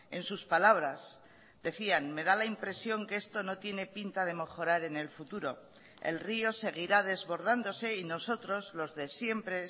en sus palabras decían me da la impresión que esto no tiene pinta de mejorar en el futuro el rio seguirá desbordándose y nosotros los de siempre